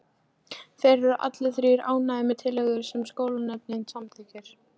Þeir eru allir þrír ánægðir með tillögurnar sem sóknarnefndin samþykkir.